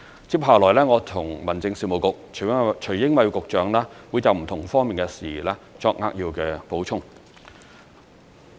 接下來，我和民政事務局會就不同方面的事宜作扼要補充。